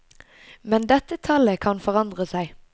Men dette tallet kan forandre seg.